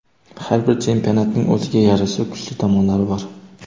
Har bir chempionatning o‘ziga yarasha kuchli tomonlari bor.